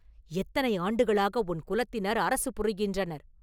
எத்தனை ஆண்டுகளாக உன் குலத்தினர் அரசு புரிகின்றனர்?